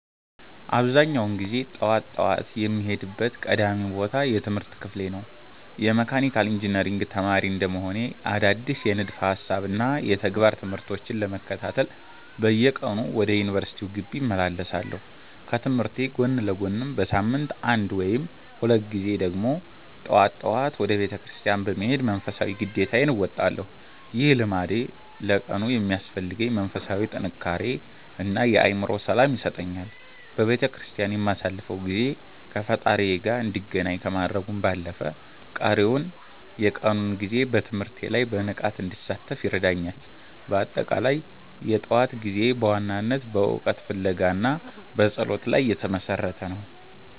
አብዛኛውን ጊዜ ጠዋት ጠዋት የምሄድበት ቀዳሚው ቦታ የትምህርት ክፍሌ ነው። የመካኒካል ኢንጂነሪንግ ተማሪ እንደመሆኔ፣ አዳዲስ የንድፈ ሃሳብና የተግባር ትምህርቶችን ለመከታተል በየቀኑ ወደ ዩኒቨርሲቲው ግቢ እመላለሳለሁ። ከትምህርቴ ጎን ለጎንም በሳምንት አንድ ወይም ሁለት ጊዜ ደግሞ ጠዋት ጠዋት ወደ ቤተክርስቲያን በመሄድ መንፈሳዊ ግዴታዬን እወጣለሁ። ይህ ልምዴ ለቀኑ የሚያስፈልገኝን መንፈሳዊ ጥንካሬ እና የአእምሮ ሰላም ይሰጠኛል። በቤተክርስቲያን የማሳልፈው ጊዜ ከፈጣሪዬ ጋር እንድገናኝ ከማድረጉም ባለፈ፣ ቀሪውን የቀኑን ጊዜ በትምህርቴ ላይ በንቃት እንድሳተፍ ይረዳኛል። በአጠቃላይ፣ የጠዋት ጊዜዬ በዋናነት በእውቀት ፍለጋ እና በጸሎት ላይ የተመሰረተ ነው።